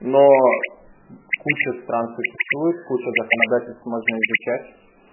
но куча стран существует куча законодательств можно изучать